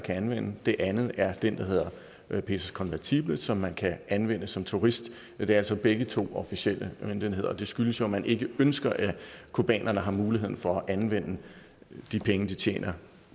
kan anvende den anden er den der hedder pesos convertibles som man kan anvende som turist men det er altså begge to officielle møntenheder og det skyldes jo at man ikke ønsker at cubanerne har mulighed for at anvende de penge de tjener